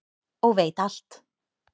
og veit alt.